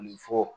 Ni fɔ